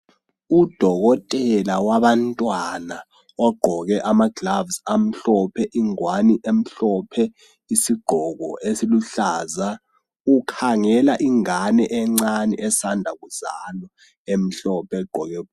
Udokotela wabantwana ogqoke amagilovisi amhlophe, ingwane emhlophe, isigqoko esiluhlaza. Ukhangela ingane encane esanda kuzalwa emhlophe.